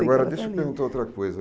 Agora, deixa eu perguntar outra coisa.